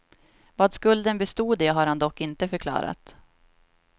Vad skulden bestod i har han dock inte förklarat.